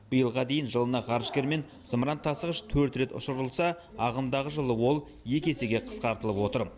биылға дейін жылына ғарышкермен зымыран тасығыш төрт рет ұшырылса ағымдағы жылы ол екі есеге қысқартылып отыр